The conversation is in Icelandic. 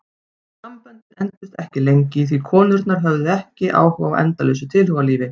Samböndin entust ekki lengi því konurnar höfðu ekki áhuga á endalausu tilhugalífi.